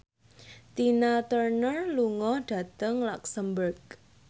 Tina Turner lunga dhateng luxemburg